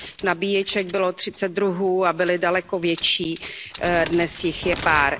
Nabíječek bylo třicet druhů a byly daleko větší, dnes jich je pár.